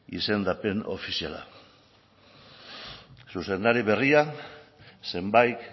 izendapen ofiziala zuzendari berria zenbait